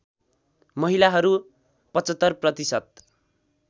महिलाहरू ७५ प्रतिशत